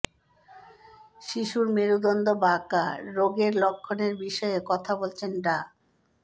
শিশুর মেরুদণ্ড বাঁকা রোগের লক্ষণের বিষয়ে কথা বলেছেন ডা